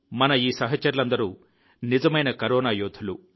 మన ఈ సహచరులందరూ నిజమైన కరోనా యోధులు